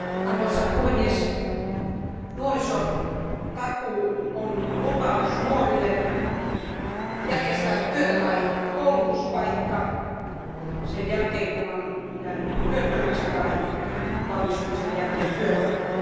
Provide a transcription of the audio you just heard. Arvoisa puhemies, nuorisotakuu on lupaus nuorille järjestää työtä tai koulutuspaikka sen jälkeen, kun on jäänyt työttömäksi, tai valmistumisen jälkeen työpaikka.